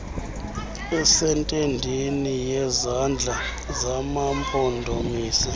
esentendeni yezandla zamampondomise